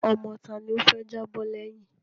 Ọmọ tá ni ó fẹ́ jábọ́ lẹ́yìn?